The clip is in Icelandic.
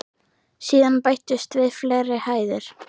Síðan bættust við fleiri hæðir.